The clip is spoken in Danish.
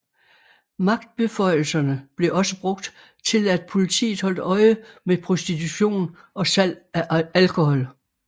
Magtbeføjelserne blev også brugt til at politiet holdt øje med prostitution og salg af alkohol